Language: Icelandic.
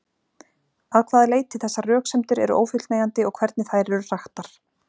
Að hvaða leyti þessar röksemdir eru ófullnægjandi og hvernig þær eru hraktar.